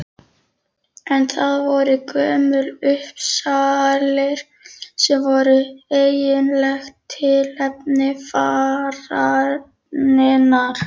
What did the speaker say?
En það voru Gömlu Uppsalir sem voru eiginlegt tilefni fararinnar.